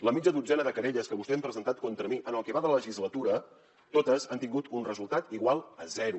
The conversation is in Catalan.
la mitja dotzena de querelles que vostès han presentat contra mi en el que va de legislatura totes han tingut un resultat igual a zero